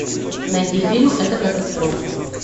найди фильм это катастрофа